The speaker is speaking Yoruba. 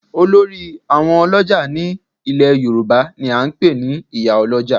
Olórí àwọn ọlọ́jà ní ilẹ̀ yorùbá ni a ń pè ní ìyálójà